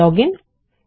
login ঠিকাছে